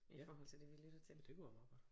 I forhold til det vi lytter til